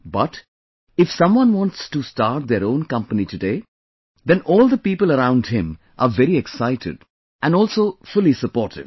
But, if someone wants to start their own company today, then all the people around him are very excited and also fully supportive